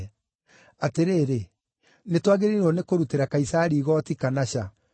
Atĩrĩrĩ, nĩtwagĩrĩirwo nĩ kũrutĩra Kaisari igooti kana ca?”